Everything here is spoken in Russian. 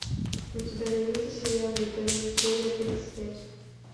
у тебя найдется сериал интерны серия тридцать пять